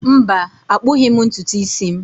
Mba, akpughi m ntutu isi m.